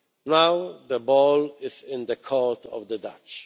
Now the ball is in the court of the Dutch.